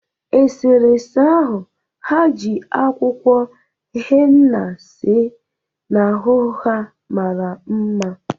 Esere ese ahụ ha ji akwụkwọ henna see n'ahụ ha mara mma